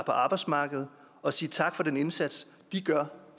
arbejdsmarkedet og sige tak for den indsats de gør